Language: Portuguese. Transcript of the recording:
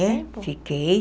É, fiquei.